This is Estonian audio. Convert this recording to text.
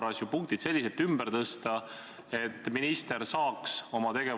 Kui on kõhklusi, kahtlusi, etteheiteid, siis peab saama seda väljendada.